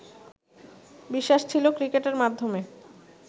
বিশ্বাস ছিলো ক্রিকেটের মাধ্যমে